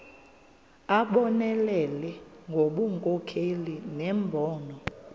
abonelele ngobunkokheli nembono